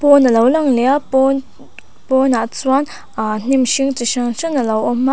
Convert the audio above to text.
pawn alo lang leh a pawn pawnah chuan a hnim hring chi hran hran alo awm a.